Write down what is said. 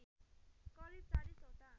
करिब ४० वटा